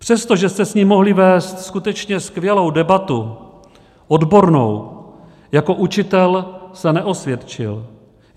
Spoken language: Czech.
Přestože jste s ním mohli vést skutečně skvělou debatu odbornou, jako učitel se neosvědčil.